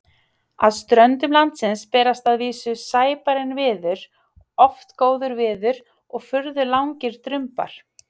Að ströndum landsins berst að vísu sæbarinn viður, oft góður viður og furðu langir drumbar.